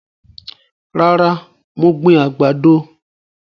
Rárá, mo gbìn àgbàdo